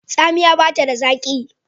Tsamiya bata da zaki.